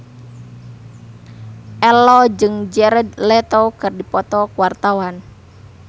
Ello jeung Jared Leto keur dipoto ku wartawan